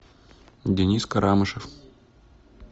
денис карамышев